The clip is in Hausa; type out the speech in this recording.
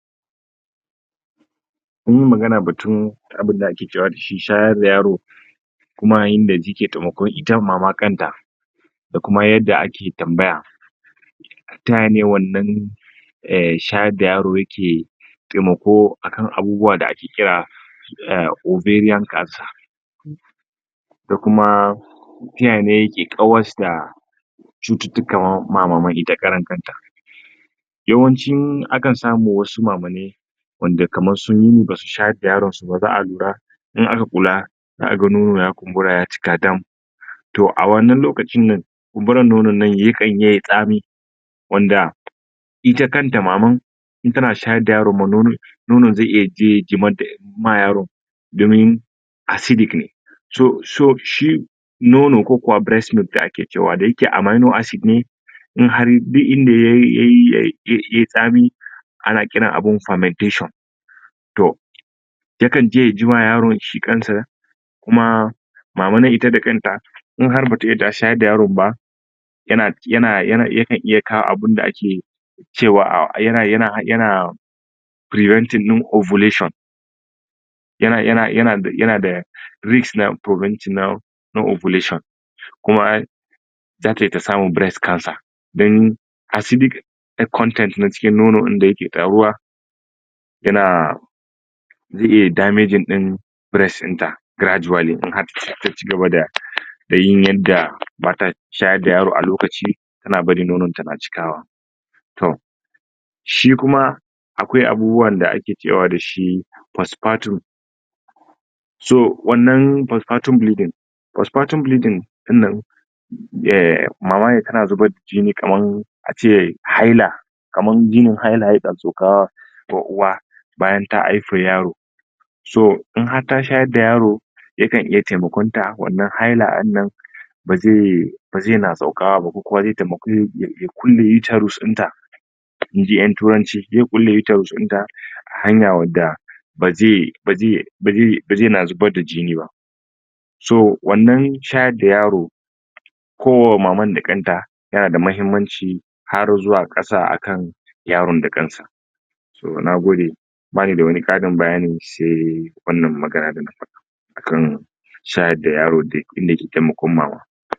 Kunyi magana batun abinda ake cewa dashi shayar da yaro kuma yayin da yike temakon ita mama da kanta da kuma yadda ake tambaya tayane wannan eh shayar da yaro yake temako akan abubuwa da ake kira ah oberiyan kansa da kuma taya ne yake kawas da cucuctuka ma maman ita kanta yawancin aka samu wasu mamanai wanda kaman sunyi basu shayar da yaron suba za alura in aka kula za aga nono ya kumbura yaci dam to a wannan lokacinnan kunburan nonon ya kanyi tsami wanda ita kanta maman intana shayar da yaro ma nonon nonon ze iya je ya jimadda ma yaron domin asidik ne to sho shi nono ko kuma bires milk da ake cewa dayake amano asid ne inhar duk inda yayyay yay tsami ana kiran abu famateshon to yakanje ya jima yaron shi ƙansa kuma maman ita da kanta innhar bata iya ta shayar da yaron ba yana, yana, yana ya kawo abin da ake cewa a yana, yana, yana firibentin ɗin ovulation yana, yana, da risk na furobantin na na ovulation kuma zatai tasamun bires ƙansa dan asidik konten na cikin nonon ɗin dayake taruwa yana ze iya damejin din bires ɗinta gradually in har taci gaba da dayin yanda bata shayar da yaro alokaci tana barin nononta na cikawa tom shi kuma akwai abubuwan da ake cewa dashi fasfatu so wannan fasfatu bilidin fasfatun bilidin ɗinnan mamane tana zubar jini kaman ace haila kaman jinin haila yana sauka fo uwa bayan ta haifa yaro so in har ta shayar da yaro yakan iya temakon ta wannan haila ɗinnan baze baze na saukawaba ko kuma ze tem ya kulle yutarus ɗinta inji yan turanci ze kulle yutarus ɗinta hanya wadda baze baze baze yina zubar da jiniba so wannan shayar da yaro ko wa maman da kanta yana da mahimman ci har zuwa ƙasa akan yaron da kansa nagode bani da wani ƙarin bayani se wannan magana da na faɗa akan shayar da yaro da inda ke temakon mama